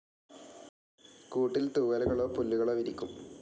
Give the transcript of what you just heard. കൂട്ടിൽ തൂവലുകളൊ പുല്ലുകളൊ വിരിക്കും.